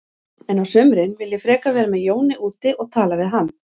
En á sumrin vil ég frekar vera með Jóni úti og tala við hann.